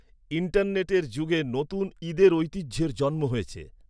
ইন্টারনেটের যুগে নতুন ঈদের ঐতিহ্যের জন্ম হয়েছে।